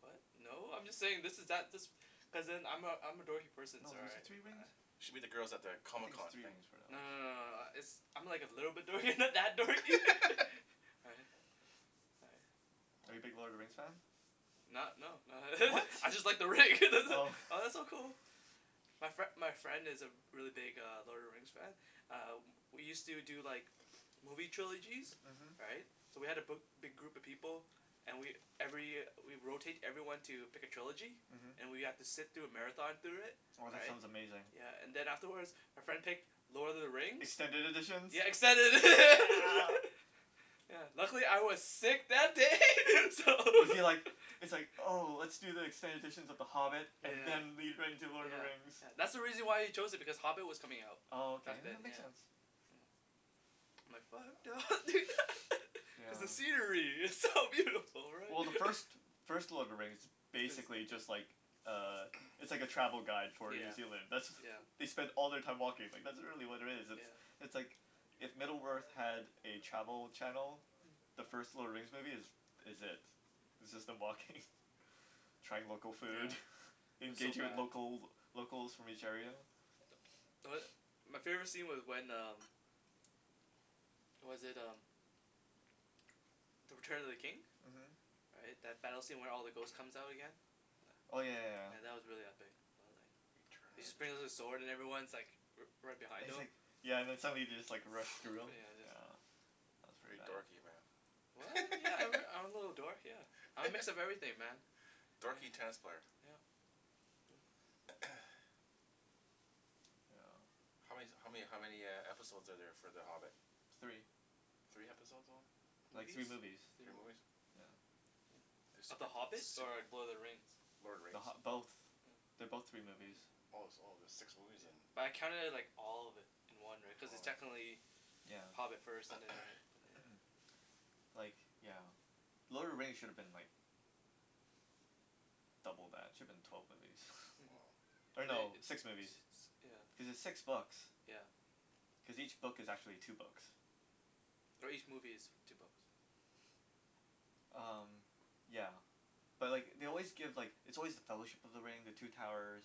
what? no. I'm just saying this is that this cuz then I'm a I'm a dorky person No is it three rings? ah You should meet the girls at the I Comic think it's Con three thing. rings for the no no elves. no no uh it's I'm like a little bit dorky not that dorky right. right Are you big Lord of the Rings fan? Not no not What? I just like the ring that it Oh oh that's so cool my fri- my friend is a re- really big Lord of the Rings fan ah we use to do like movie trilogies, uh-huh. right so we had a bi- big group of people and we every we rotate everyone to pick a trilogy uh-huh. and we have to sit through a marathon through it Oh that right sounds amazing. yeah and then afterwards our friend picked Lord of the Rings Extended editions? Yeah extended edi- Yeah. yeah luckily I was sick that day so Was he like, it's like oh let's do the extended editions of the Hobbit and yeah. then lead right into Lord of the yeah Rings. yeah that's Hmm why he chose it because Hobbit was coming out Oh okay, back then that makes yeah. sense hm I'm like fuck yeah because the scenery is so beautiful right Well the first first Lord of the Rings is be- basically just like uh It's like a travel guide for New yeah Zealand, that's yeah they spend all their time walking, like that's really what it is yeah it's like if Middle Earth had a travel channel Hm the first Lord of the Rings movie is is it Hmm it's just them walking trying local food, yeah that's so engaging with bad local locals from each area. yeah tho- my favorite scene was when um was that um The Return of the King uh-huh right that battle scene where all the ghost comes out again yeah oh yeah yeah yeah yeah that was really epic He just brings out his sword and everyone's like righ- right And behind he's him like, yeah and then somebody just like runs through him, put yeah just yeah. That's pretty Pretty bad. dorky what? man yeah I'm I'm a little dork yeah I'm a mix of everything man Dorky tennis player yup yeah how man- how many how many uh episode are there for The Hobbit? Three. Three episode only Like movies. three movies. three Three movies movi- Yeah yeah. Of The Hobbit or Lord of the Rings? Lord of the The RIngs Hobbi- both, oh they're both three movies. yeah Oh oh there's six movies yeah, then but I counted it like all of it in one right cuz it's Oh yeah technically yeah Hobbit first and then right but yeah yeah Like yeah. Lord of the Rings should've been like double that, it should've been twelve movies. woah or uh-huh. no li- six six movies yeah cuz it's six books yeah cause each book is actually two books or each movie is two books umm yeah But like they always give like it's always The Fellowship of the Ring the Two Towers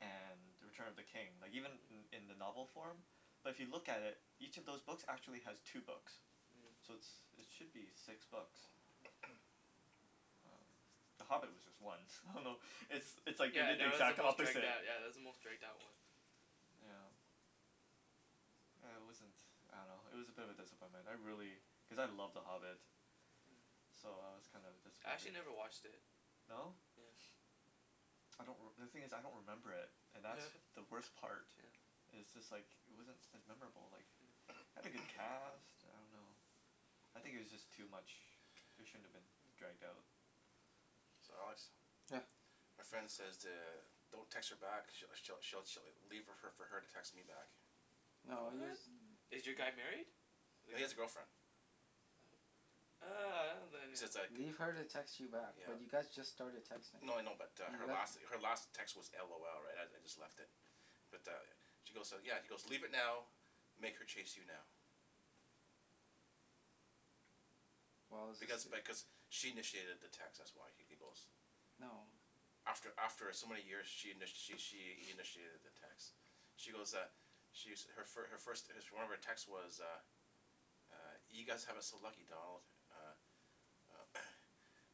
and The Return of the King. Like even uh-huh in in the novel form but if you look at it each of those books actually has two books Mm So it's it should be six books Mm umm, The Hobbit was just one, I don't know it's Mm it's like they yeah did the that was the exact most dragged opposite out yeah that was the most dragged out one yeah yeah huh uh it wasn't I don't know it was a bit of a disappointment, I really, Mm cuz I love The Hobbit Hmm So I was kinda I disappointed actually never watched it No? yes I don't reme- the thing is I don't remember it and that's the worst part yeah it's just like it wasn't as memorable like Hmm it had a good cast, I don't know I think it was just too much it shouldn't have been Hmm dragged out. So Alex yeah My friend says to don't text her back she'll she'll she'll leave fo- leave it for her to text me back No What? use- th- Is your guy married? No he has a girlfriend ah He says like Leave her to text you back but yeah you yeah guys just started No texting no I know but uh her last her last text was LOL right I I just left it Yeah but uh She goes yeah he's goes leave it now make her chase you now Well it's Because just th- because she initiated the text that's why he goes No After after some many years she in- she she initiated the text She goes uh She's her first her first one of her text text was uh uh you guys have it so lucky Donald uh uh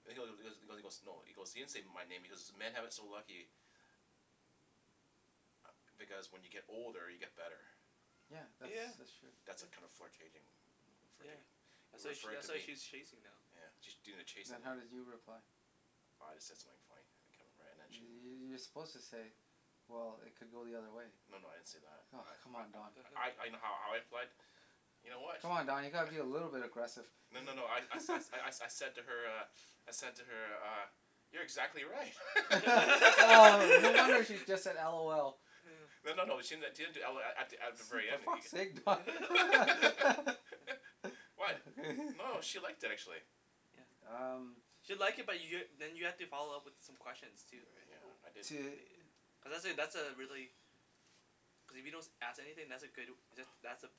He he goes he goes no he goes he didn't say my name he goes "men have it so lucky" ah because when you get older you get better Yeah that's yeah that's true That's a kind yeah of flurtating yeah uh-huh That's why referring referring to that's why me she's chasing now yeah she's doing the chasing Then now how did you reply I just said something funny I can't remember and then she you're suppose to say well it could go the other way No no I didn't say that Oh come I on Don I I I know how I I fled You know what Come on Don you gotta be a little bit agressive No no no I Hmm I I, I said to her uh I said to her uh You're exactly right oh no wonder she just said LOL Hmm No no no she didn- she didn't do LOL at th- at the very For end fuck's sake guy Huh Why? No she liked it actually yeah Um She'll like it but you're then you have to follow up with some questions too right Yeah I didn't To cuz that that's a really cuz if you don't as- ask anything that's a good that that's a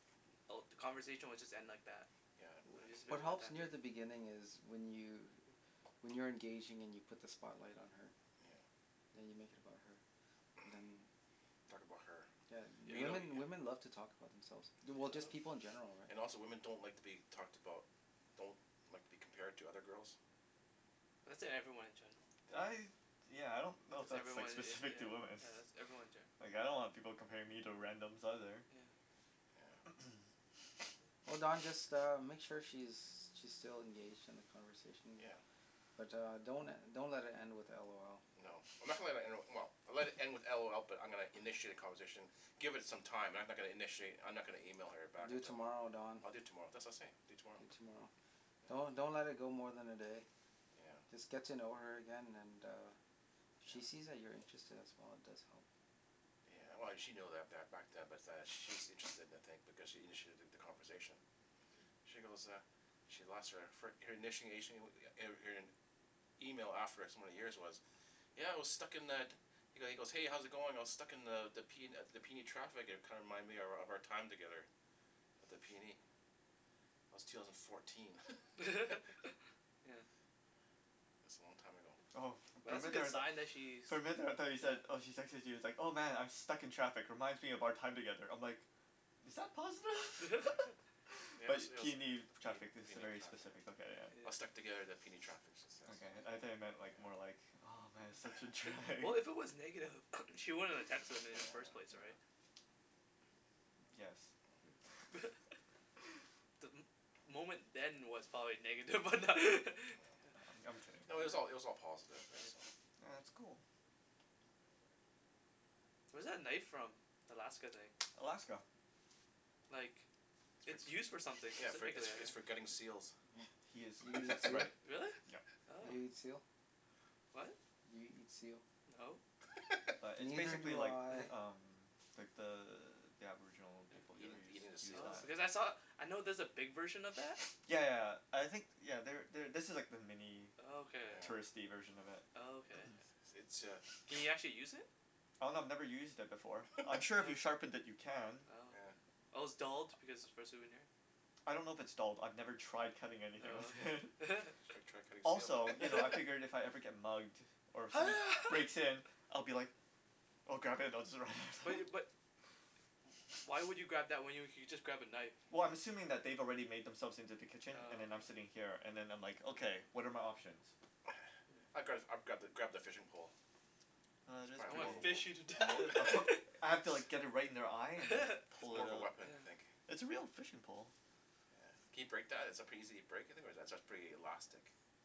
all the conversation will just end like that Yeah Or I it'll I just Wh- be a what one helps time near thing the beginning is when you when you're engaging and you put the spotlight on her Hmm yeah you make it about her and then you talk about her yeah But you know women yeah women love to talk about themselves du- just people Yup in general right And also women don't like to be talked about Don't like to be compared to other girls That's e- everyone in general, yeah yeah. I yeah I don't know if that's that's like everyone yea- specific to yeah women yeah that's everyone ge- like I don't want people comparing me to randoms either. yeah Yeah Oh Don just uh make sure she's she's still engaged in the conversation yeah but uh don't le- don't let it end with LOL No I'm not gonna le- let it end, well I'll let it end with LOL but I'm gonna initiate a conversation Give it some time I'm no- not gonna initiate I'm not gonna email her back Do it until tomorrow Don I'll do it tomorrow that's what I was saying I'll do it tomorrow Do it tomorrow yeah Don't don't let it go more than a day yeah Just get to know her again and uh if she yeah sees that you're interested as well it does help Yeah well she know that ba- back yeah but that she's interested in a thing because she initiated th- the conversation she goes uh She lost her fir- her initiation er er her email after so many years was yeah I was stuck in the He he goes hey how's it going I was stuck in the the the P the PNE traffic and it kinda reminded me of of our time together at the PNE That was two thousand fourteen yeah It's a long time ago Oh for But for a that's a minute there I good was like sign that she's For a minute there I though you said yeah oh she texted you it's like "oh man I'm stuck in traffic reminds me of our time together" I"m like is that positive? yeah Yeah it but was it was P PNE traffic that's a PNE very traffic specific look at it. I was stuck yeah together at the PNE traffic she says, okay yeah I though you yeah meant like more like oh man such a yeah we- drag. well if it was negative she She wouldn't wouldn't have have texted texted him i- me in in the the first first place place right yes Hmm The mo- moment then was probably negative but that Oh I'm I'm kidding No it was all it was yeah all positive right yeah so? yeah that's cool Where's that knife from the Alaska thing Alaska like It's It's used for for something yeah its specifically for yeah its for yeah gutting seals He is Do you eat exactly seal? right, Really? yup. Oh Do you eat seal? What? Do you eat seal? no But it's Neither basically do like I uh-huh umm like the the aboriginal people yeah over there eating use eating the use seals Oh knives because I saw, I know there's a big version of that yeah yeah I think you know there there this is the mini Oh okay. yeah touristy version of it Oh okay It's uh Can you actually use it? Oh no I've never used it before, I'm sure if you Oh sharpen it you can. Oh okay yeah Oh its dulled because it's for a souvenir I don't know if its dulled I've never tried cutting anything with Oh it okay you should try cutting seal Also you know I figured if I ever get mugged or ho somebody ha breaks in I'll be like oh God. Bu- you but wh- why would you grab that when you you could just grab a knife Well I'm assuming that they've already made themselves into the kitchen and oh then I'm sitting yeah here and them I'm like okay oh what are my options? Hmm I'd gra- I'd grab grab the fishing pole Oh It's it is I probably wanna pretty more wo- fish you to death more I put I have to like get it right in their eye and then More of a weapon I think yeah It's a real fishing pole. Yeah can you break that is it pretty easy to break you think or is it pretty elastic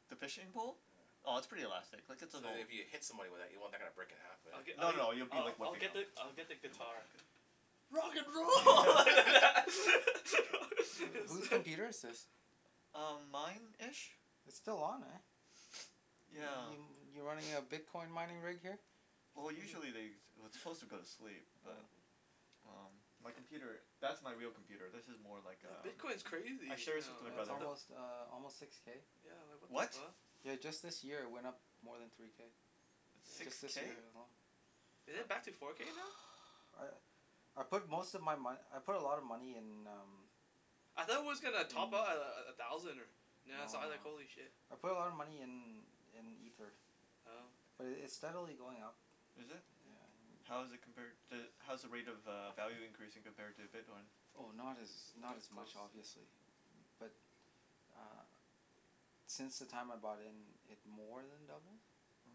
The fishing pole? yeah Oh it's pretty elastic, like it's an So that old if Hmm you hit someone with that you don't want that to kinda break in half but I'l- No I'll no you'll I- be I- like I'll whipping get them the I'll Oh get the You'll whip them guitar good Rock and roll Who who's computer is this? Um mine ish It's still on eh yeah y- you running a bitcoin mining rig here? Well Hmm hmm usually they it- it's suppose to go to sleep oh but um my yup computer that's my real computer this is more like No uh bitcoin's I crazy share this with my yeah no it's what brother the almost uh almost six k yeah like what the what? fuck yeah just this year it went up more than three k It's six just yeah this k? year alone Is it back to uh four k now? I I put most of my mone- I put a lot of money in um I thought it was gonna top Mm out a- a- at a thousand or now I No saw it I was like no holy shit I put a lot of money in in ether Oh okay but it it's steadily going up Is it? yeah yeah How's it compared to how's the rate of uh value increasing compared to bitcoin? Oh not as not not as much close yeah obviously bu- but ah since the time I bought in it more then doubled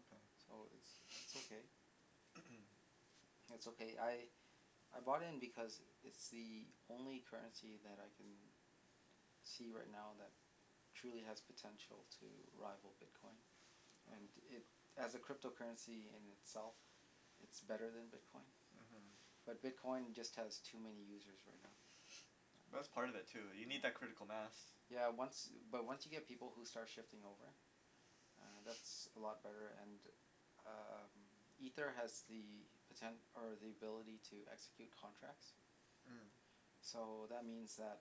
okay so it's it's okay It's okay I I bought in because it's the only currency that I can see right now that truly has potential to rival bitcoin and oh it, as a crypto currency in itself it's better then bitcoin uh-huh but bitcoin just has too many users right now but that's part of it too you need that yeah critical mass yeah once but once you get people who start shifting over uh that's a lot better and um ether has the poten- or the ability to execute contracts Hmm so that means that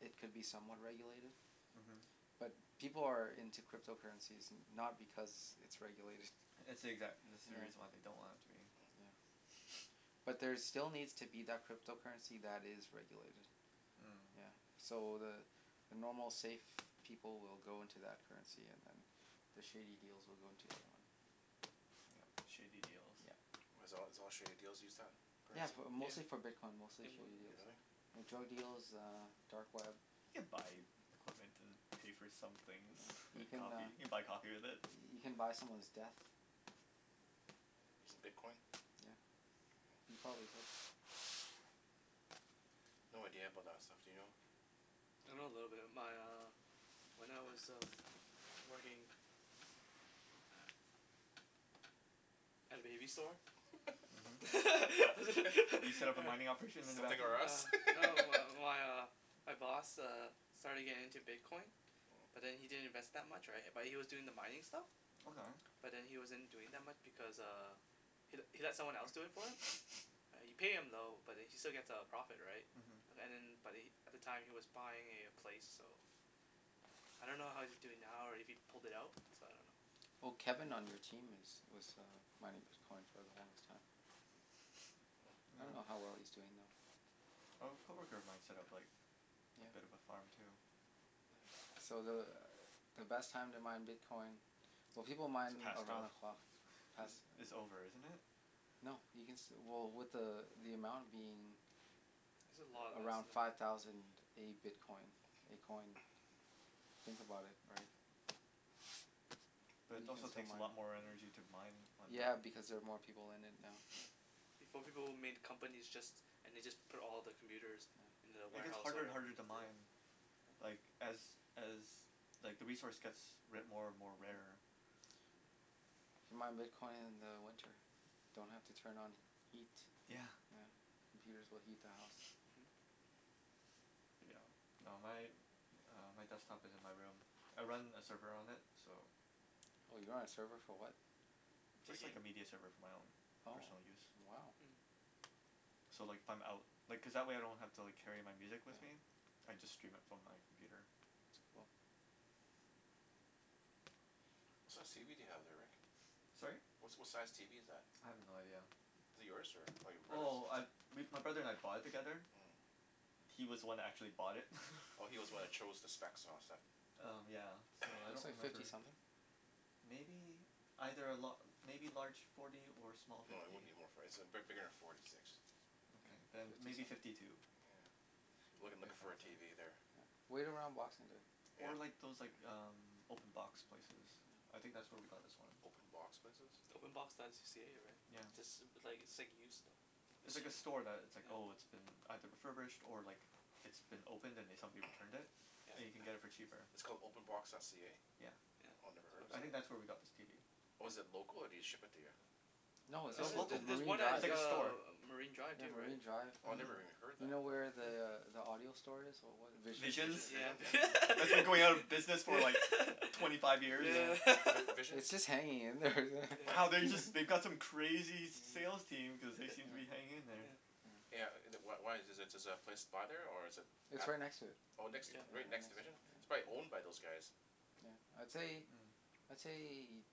it could be somewhat regulated uh-huh but people are in to crypto currencies no- not because it's regulated It's the exact- That's the yeah reason they don't want it to be Hmm huh but there still needs to be that crypto currency that is regulated yeah Hmm so the the normal safe people will go into that currency and then the shady deals will go into the other one Yup shady deals yup why it's all it's all shady deals use that yeah currency? bu- yeah mostly for bitcoin mostly and one shady other deals Really? thing like drug oh deal yeah um dark web You can buy equipment and pay for some things you can coffee you uh can can buy coffee with it you can buy someone's death Using bitcoin? yeah you oh probably could No idea about that stuff do you know? I know a little bit my uh when I was working at a baby store uh-huh You set up a mining operation in the back Something room r' Us Uh no my my uh my boss uh starting getting into bitcoin but then he didn't invest that much right but he was doing the mining stuff Okay but then he wasn't doing that much because uh he he let someone else do it for him yeah you pay him though but then he still get a profit right an- uh-huh and then but he at the time was buying a place so yeah I don't know how he's doing now or if he pulled it out so I don't know Well Kevin on your team is was uh mining bitcoin for the longest time Hmm I don't know how well he's doing oh though Oh a co-worker of mine set-up like a bit of a yeah farm too yeah so the uh the best time to mine bitcoin well people It's mine passed though around the clock Is pass it's oh over isn't it? No you can still well with the uh the amount being There's a lot of us around now five thousand a bitcoin a coin think about it right But it you can also still takes yeah, a mine lot more yeah energy to mine one now yeah yeah because they're more people in it now yeah Before people would made companies just and they just put all the computers yeah in the And it get's warehouse harder and whatever harder to mine like as as like the resource gets ra- more and more uh-huh rarer Hmm you mine bitcoin in the winter don't have to turn on heat yeah yeah computers will heat the house uh-huh yeah no my uh my desktop is in my room I run a server on it so For a Just like game a media server for my own oh personal use wow Hmm So like if I'm out Like cuz that way I don't have to like carry my music yeah with me. I just stream it from my computer uh-huh it's cool What size tv do you have there Rick? Sorry? Wha- what size tv is that? I have no idea Is it yours or your brother's? Well I we my brother and I bought it together Hmm He was the one who actually bought it Oh he's was the one who Hmm chose the specs and all that stuff Um yeah so I don't looks like remember fifty something Maybe. Either a la- maybe larger forty or small No it fifty wouldn't be more for- it's big- bigger then forty six Okay yeah then fifty maybe something fifty two yeah I'm looking looking If Hmm for a that then tv there yeah wait around boxing day yeah Or like those like um open box places I think that's where we got this one Open box places? openbox.c- ca right? Yeah yeah It's ju- it's like it's like used stuff It's It's like use- a store that it's like yeah oh it's been either refurbished or like it's been opened and then somebody returned it and you yeah can get it for cheaper. It's called openbox.ca? Yeah yeah Oh I never it's a head of I it think website that's where we got this tv. Oh is it local or do they ship it to you? no it's uh It's local there's just local, there's Marine one at it's Drive like a uh store Marine Drive yeah too right Marine Drive Oh I never uh-huh even heard you that know where yeah the uh the audio store is what was it Visions Visions Vision Yeah and Vi- yeah That's been going out of business for yeah like twenty five years yeah yeah Vi- Visions its just hanging in there Wow yeah they just they've got some crazy sales yeah team cuz they seem to be yeah hanging in there yeah yeah yeah Yeah uh wh- wh- why is the is the place by there or is it its at right next to it Oh next yeah yeah right right next to next to Vision it It's probably year owned by those guys yeah I'd say Hmm I'd say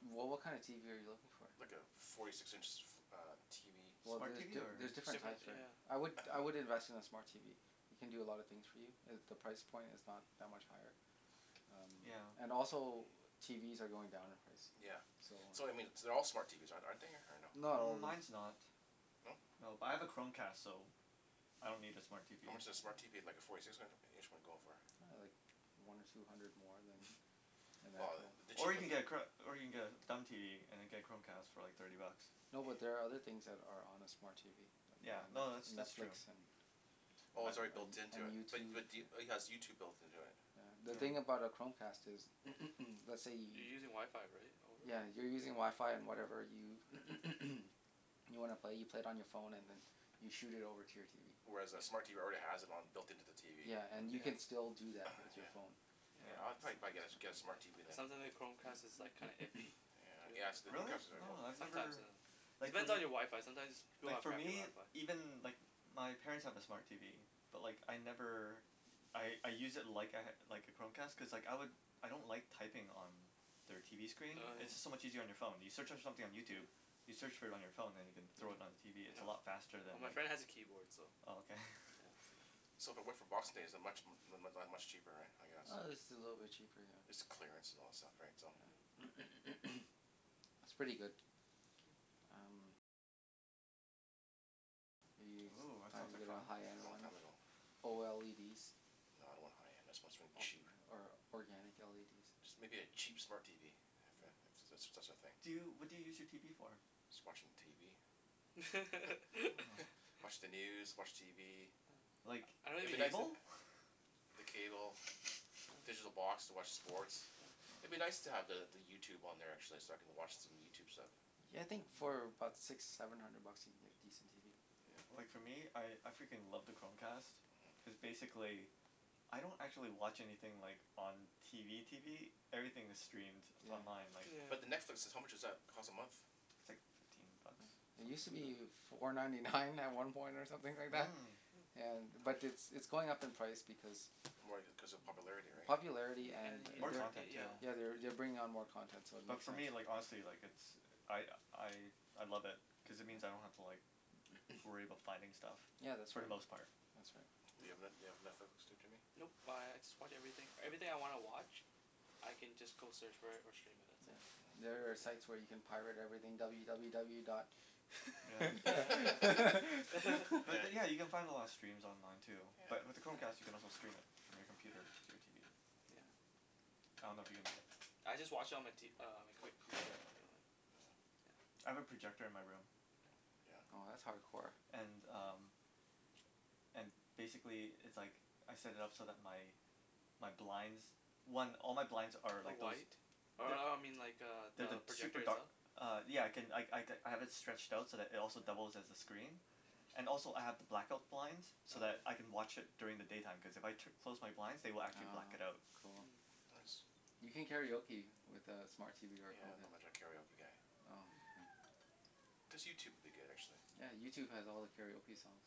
wha- what kind of tv are you looking for? Like a forty six inch uh tv well Smart tv the- or there's different different types there yeah I would I would invest in a smart tv it can do a lot of things for you and the price point is not that much higher um yeah and also TVs are going down in price yeah so um so I mean th- their all smart TVs are- aren't they or no? not all of them Mines no not No but I have a Chromecast so I don't need a smart TV How much does a smart Hmm TV like a forty six in- inch one go for? ah like one or two hundred more than an Well actual the Or cheap you of can get a chro- or you can get a dumb TV and then get a Chromecast TV for like thirty bucks no but there are other things that are on a smart TV like Yeah uh no net- that's that's Netflix true and Oh I it's an- already built an- into and it bu- YouTube but do- it has YouTube built into it? yeah, the thing yeah Mm about a Chromecast is let's say You're you using wifi right over yeah you're using wifi and whatever you you wanna play you play it on your phone and then you shoot it over to your TV Whereas a smart yeah TV already has it on it built into the TV yeah and you Mm can yeah still do that with your yeah phone Yeah I I Yeah yeah probably probably get a get a smart TV It then sounds li- like Chromecast is like kinda iffy Yeah yes the Really? Chromecast is oh Oh I've sometimes never uh It Like fo- depends on your wifi sometimes pe- people Like have for crappy me, wifi even like wh- my parents have a smart TV but like I never I I use it like I ha- like a Chromecast cuz like I lik- I don't like typing on their TV screen oh it's just so yeah Mm much easier on your phone, you search on something on yeah YouTube you search for it on your phone then you can thrown it on yeah your TV its no, a lot faster than well my friend has a keyboard so oh okay yeah so So if I went for boxing day is it much mu- mu- much cheaper right I guess uh it's a little bit cheaper yeah It's clearance and all that stuff right so yeah it's pretty good Hmm are you Ooh that trying sounds to like get a fun high end Long one time ago Oh No I don't want high end I want something or cheap or organic LEDs Just maybe a cheap smart TV Yeah if if that's that's a thing Do you, what do you use your TV for? Just watching TV oh watch the news watch TV oh Like I- I- don't I'd be even nic- use uh it cable? the cable digital oh box to watch sports huh Oh I'd be nice to the the YouTube on there actually so I can watch some YouTube stuff yeah I think for about six seven hundred bucks you can get a decent TV Yeah Like for me I I freaking love the Chromecast uh-huh cuz basically I don't actually watch anything like on TV TV everything is streamed it's yeah online like yeah But the Netflix how much does that cost a month It's like fifteen bucks yeah it use to be four ninety nine at some point or something like that Hmm yeah How but muc- it's it's going up in price because More cuz of popularity right popularity yeah and an- More they're u- content too yeah yeah they're they're bring on more content so it But makes for sense me Hmm like honestly like it's I I I love it cuz it means I yeah don't have to like worry about finding stuff yeah that's for right the Hmm most part. that's right Do you have Net- do you have Netflix too Jimmy? Nope I I just watch everything, everything I wanna watch I can just go search for it or stream it that's it hmm yeah oh there are site yeah where you can pirate everything w w w dot yeah yeah yeah But yeah then yeah you can find a lot of steams online too but yeah with the yeah Chromecast you can also stream it from your computer to your TV. yeah yeah I don't know if you can I just watch on my t- uh on my com- computer anyways Mm yeah I have a projector in my room. yeah oh that's hardcore and um and basically it's like I set it up so that my my blinds one all my blinds are are like those white uh they- uh I mean like They're the the project super dark itself Uh yeah I can I I have it stretched out so it also doubles as a screen Mmm and also I have the black-out blinds oh so yeah that I can watch it during the daytime cause if I tu- close my blinds they will actually oh black it out cool Hmm nice you can karaoke with uh smart TV or Yeah not Chromecast much of a karaoke guy oh Hmm okay Just YouTube would be good actually yeah YouTube has all the karaoke songs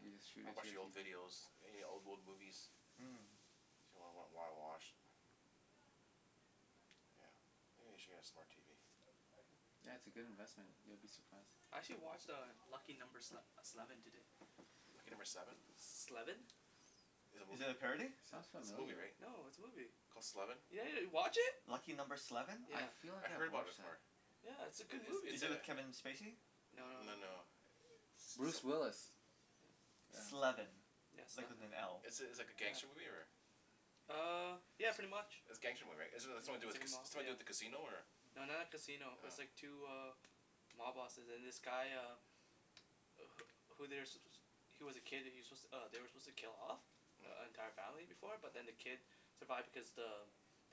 you just shoot I'll it to watch your the old TV videos any old old movies yeah Hmm If you wanna wa- wa- watch Yeah maybe I should get a smart TV yeah it's a good investment you'll be surprised I actually watch uh Lucky Number Sle- Sleven today Lucky Number Seven? Sleven Is it a Is it movie? a parody? sounds It's it's a movie familiar right? No it's a movie Called Sleven yeah yeah you watch it? Lucky Number Sleven? I yeah feel I like heard I've about it watched that before Yeah it's a It good it it's movie Is it a with Kevin Spacey? no No no no no Bruce some- Willis yeah Sleven, yeah like sleven with an L. It's it's like a gangster yeah movie or? ah uh yeah pretty much It's gangster movie right it it's something to yeah do it's with like ca- a it's mob something to do yeah with a casino or? no not like casino its Oh like two uh mob bosses and this guy uh wh- who they're su- suppo- he's was a kid he was su- they were suppose to kill off the Hm entire family before but then the uh-huh kid survived because the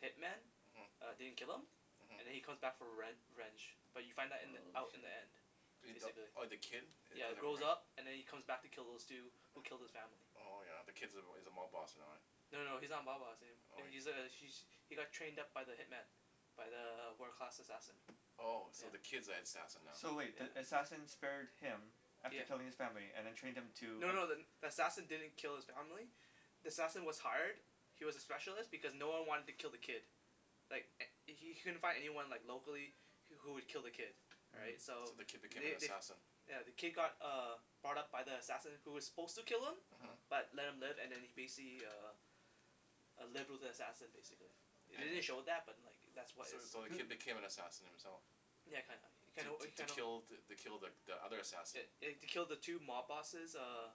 hitman uh-huh didn't kill him and then uh-huh he come back for rev- revenge but you find that in the oh out in shit the end uh the basically oh the kid it yeah comes back grows around up and then he comes back to kill those two who killed his family Oh yeah the kid's- is a mob boss and all yeah no no no he's not a mob boss a- oh he's a he he got trained up by the hitman by the wo- world class assassin Oh so the yeah kid's the assassin now? So wait the yeah assassin spared him after yeah killing his family and then trained him to No no the- then the assassin didn't kill his family the assassin was hired he was a specialist because no one wanted to kill the kid like h- he couldn't find anyone like locally wh- who would kill the kid right right so So the kid became an they they assassin yeah the kid got uh brought up by the assassin who was suppose to kill him uh-huh uh-huh but left him live and then he basically uh uh lived with the assassin basically the- they didn't It show oh that but like that was So is so the who kid became an sup- assassin himself yeah kinda, you kinda To you to kinda kill the kill the the other assassin eh eh to kill the two mob bosses uh uh-huh